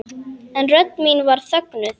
En rödd mín var þögnuð.